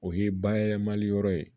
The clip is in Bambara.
O ye bayɛlɛmali yɔrɔ ye